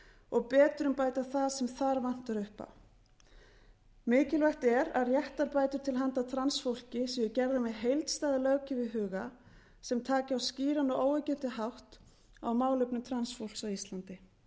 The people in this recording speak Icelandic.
og betrumbæta það sem þar vantar upp á mikilvægt er að réttarbætur til handa transfólki séu gerðar með heildstæða löggjöf í huga sem taki á skýran og óyggjandi hátt á málefnum transfólks á íslandi